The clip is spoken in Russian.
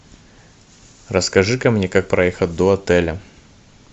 расскажи ка мне как проехать до отеля